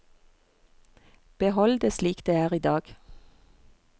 Behold det slik det er i dag.